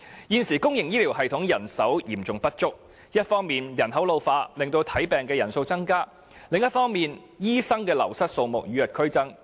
現時公營醫療系統人手嚴重不足，一方面人口老化，令求診人數不斷增加；另一方面，醫生的流失數目卻與日俱增。